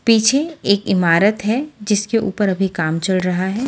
पीछे एक इमारत है जिसके ऊपर अभी कम चल रहा है।